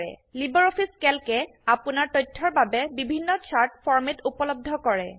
LibreOffice ক্যালকে আপোনাৰ তথ্যৰ বাবে বিভিন্ন চাৰ্ট ফৰম্যাট উপলব্ধ কৰে